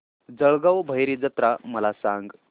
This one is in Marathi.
जळगाव भैरी जत्रा मला सांग